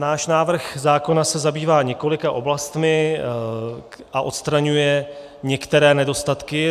Náš návrh zákona se zabývá několika oblastmi a odstraňuje některé nedostatky.